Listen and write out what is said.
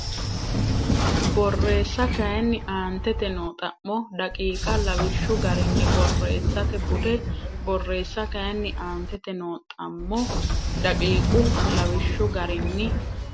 Borreessa kayinni aantete noo xa mo daqiiqa lawishshu garinni borreessate bude Borreessa kayinni aantete noo xa mo daqiiqa lawishshu garinni.